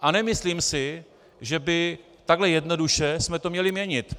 A nemyslím si, že by takhle jednoduše jsme to měli měnit.